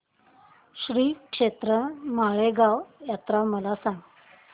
श्रीक्षेत्र माळेगाव यात्रा मला सांग